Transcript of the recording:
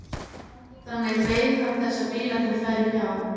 Þannig beið hann þess að bílarnir færu hjá.